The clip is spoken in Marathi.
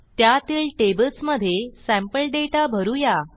त्यातील टेबल्समधे सॅम्पल दाता भरू या